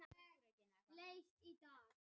Heba, slökktu á niðurteljaranum.